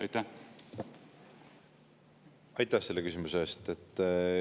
Aitäh selle küsimuse eest!